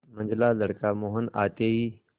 मंझला लड़का मोहन आते ही